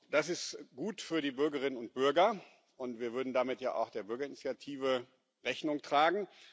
Das ist gut für die Bürgerinnen und Bürger, und wir würden damit ja auch der Bürgerinitiative Rechnung tragen.